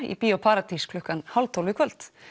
í Bíó paradís klukkan hálf tólf í kvöld